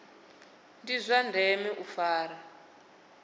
ndi zwa ndeme u fara